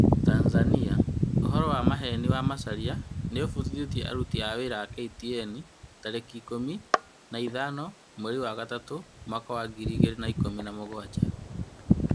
Tanzania: ũhoro wa maheni wa Macharia niũbutithĩtie aruti a wĩra a KTN tarĩki ikũmi na ithano mweri wa gatatũ mwaka wa ngiri igĩri na ikũmi na mũgwanja